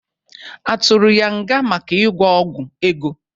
Atụrụ ya nga maka ịgwọ ọgwọ ego?